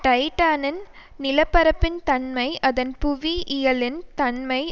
டைடானின் நிலப்பரப்பின் தன்மை அதன் புவியியலின் தன்மை